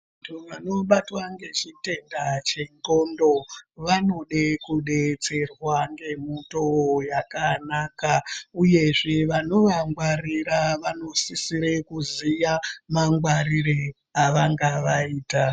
Vanthu vanobatwa ngechiteta chendxondo vanode kudetserwa ngemutowo yakanaka uyezve vanovangwarira vanosisire kuziya mangwarire avangavaita.